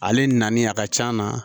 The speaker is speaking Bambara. Ale nalen a ka can na